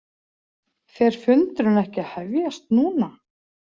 Fer fundurinn ekki að hefjast núna?